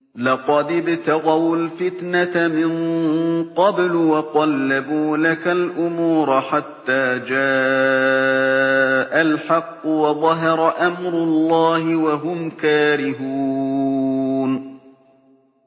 لَقَدِ ابْتَغَوُا الْفِتْنَةَ مِن قَبْلُ وَقَلَّبُوا لَكَ الْأُمُورَ حَتَّىٰ جَاءَ الْحَقُّ وَظَهَرَ أَمْرُ اللَّهِ وَهُمْ كَارِهُونَ